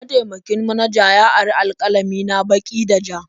Mataimakin manaja ya ari alƙalami na baki da ja.